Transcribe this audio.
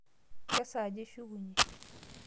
Kesaaja ishukunye?